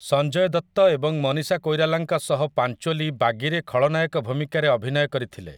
ସଞ୍ଜୟ ଦତ୍ତ ଏବଂ ମନୀଷା କୋଇରାଲାଙ୍କ ସହ ପାଞ୍ଚୋଲି 'ବାଗୀ'ରେ ଖଳନାୟକ ଭୂମିକାରେ ଅଭିନୟ କରିଥିଲେ ।